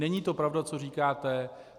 Není to pravda, co říkáte.